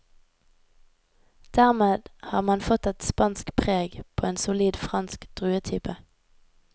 Dermed har man fått et spansk preg på en solid fransk druetype.